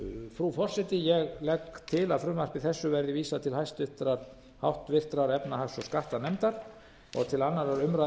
frú forseti ég legg til að frumvarpi þessu verði vísað til háttvirtrar efnahags og skattanefndar og til